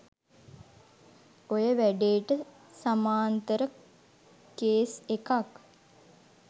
ඔය වැඩේට සමාන්තර කේස් එකක්